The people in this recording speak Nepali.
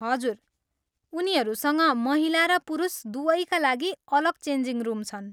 हजुर, उनीहरूसँग महिला र पुरुष दुवैका लागि अलग चेन्जिङ रुम छन्।